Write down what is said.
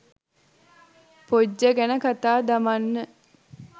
පොජ්ජ ගැන කතා දමන්න.